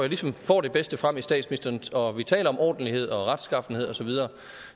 ligesom at få det bedste frem i statsministeren og vi taler om ordentlighed og retskaffenhed osv